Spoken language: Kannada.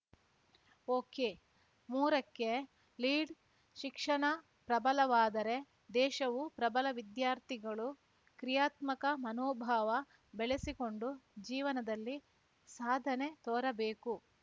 ಒಕೆಮೂರಕ್ಕೆ ಲೀಢ್‌ ಶಿಕ್ಷಣ ಪ್ರಬಲವಾದರೆ ದೇಶವೂ ಪ್ರಬಲ ವಿದ್ಯಾರ್ಥಿಗಳು ಕ್ರಿಯಾತ್ಮಕ ಮನೋಭಾವ ಬೆಳೆಸಿಕೊಂಡು ಜೀವನದಲ್ಲಿ ಸಾಧನೆ ತೋರಬೇಕು